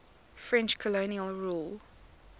french colonial rule